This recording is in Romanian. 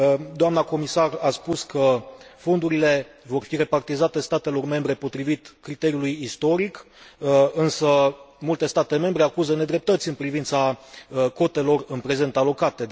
Doamna comisar a spus că fondurile vor fi repartizate statelor membre potrivit criteriului istoric, însă multe state membre acuză nedreptăți în privința cotelor în prezent alocate.